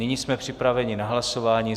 Nyní jsme připraveni na hlasování.